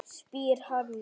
spyr Hanna.